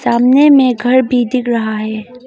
सामने में घर भी दिख रहा है।